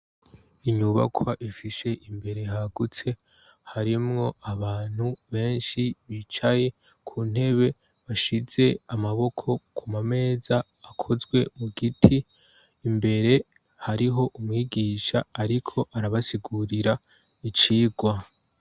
Inyubakwa ifishe imbere hagutse, harimwo abantu benshi bicaye ku ntebe bashize amaboko ku mameza akozwe mu giti imbere hariho umwigisha ariko arabasigurira icigwa.